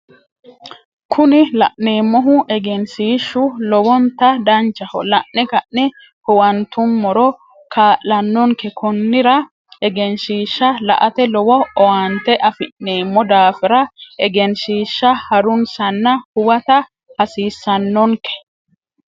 Kuni la'neemmohu egeenshishshu lowontta danchaho la'ne ka'ne huwanttummoro kaala'nonke konnira egeenshishsha la'ate lowo owaante afi'neemmo daafira egenshiisha harunsanna (huwata hasiissanonke)